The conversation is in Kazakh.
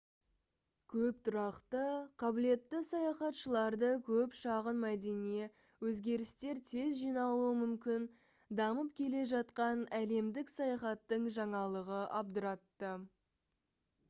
көп тұрақты қабілетті саяхатшыларды көп шағын мәдение өзгерістер тез жиналуы мүмкін дамып келе жатқан әлемдік саяхаттың жаңалығы абдыратты